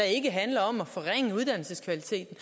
ikke handler om at forringe uddannelseskvaliteten